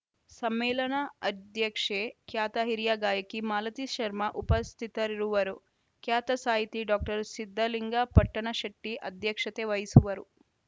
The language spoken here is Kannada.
ಸಮ್ಮೇಳನ ಅಧ್ಯಕ್ಷೆ ಖ್ಯಾತ ಹಿರಿಯ ಗಾಯಕಿ ಮಾಲತಿ ಶರ್ಮಾ ಉಪಸ್ಥಿತರಿರುವರು ಖ್ಯಾತ ಸಾಹಿತಿ ಡಾಕ್ಟರ್ ಸಿದ್ದಲಿಂಗ ಪಟ್ಟಣಶೆಟ್ಟಿಅಧ್ಯಕ್ಷತೆ ವಹಿಸುವರು